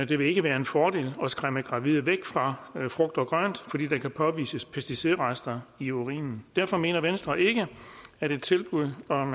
det vil ikke være en fordel at skræmme gravide væk fra frugt og grønt fordi der kan påvises pesticidrester i urinen derfor mener venstre ikke at et tilbud om